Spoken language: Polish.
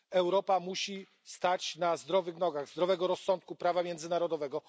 Europa musi stać na zdrowych nogach zdrowego rozsądku prawa międzynarodowego.